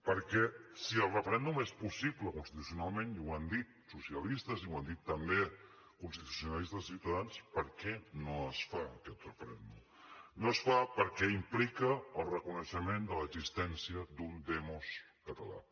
perquè si el referèndum és possible constitucionalment i ho han dit socialistes i ho han dit també constitucionalistes de ciutadans per què no es fa aquest referèndum no es fa perquè implica el reconeixement de l’existència d’un demos català